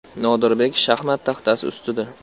Nodirbek shaxmat taxtasi ustida.